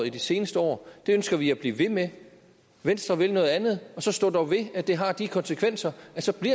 i de seneste år det ønsker vi at blive ved med venstre vil noget andet så stå dog ved at det har de konsekvenser